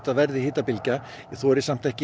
verði hitabylgja ég þori samt ekki